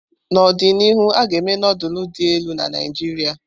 N'ọdịnihu, a ga-eme nufulu dị elu na Naijiria.